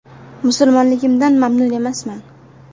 “Musulmonligimdan mamnun emasman.